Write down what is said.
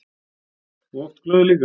Og oft glöð líka.